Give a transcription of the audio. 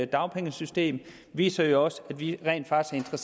dagpengesystem viser jo også at vi rent faktisk er